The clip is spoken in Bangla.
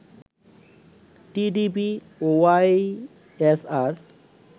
টিডিপি ও ওয়াইএসআর